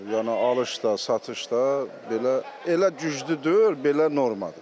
Yəni alış da, satış da belə, elə güclü deyil, belə normadır.